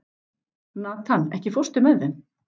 Nathan, ekki fórstu með þeim?